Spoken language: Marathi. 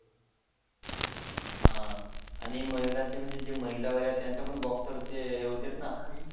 हा आणि महिलाचे म्हणजे जे महिला वाल्या त्यांचे पण बॉक्सरचे होते ना साहिल